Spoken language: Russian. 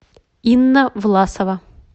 инна власова